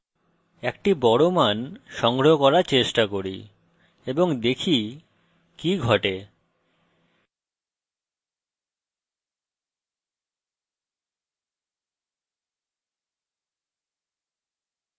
একটি বড় মান সংগ্রহ করার চেষ্টা করি এবং দেখি কি ঘটে